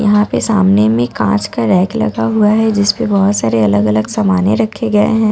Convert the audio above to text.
यहां पे सामने में कांच का रैक लगा हुआ है जिसपे बहुत सारे अलग-अलग सामाने रखे गए हैं।